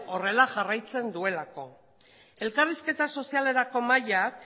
horrela jarraitzen duelako elkarrizketa sozialerako mahaiak